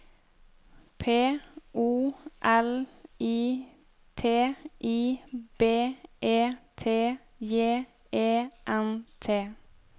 P O L I T I B E T J E N T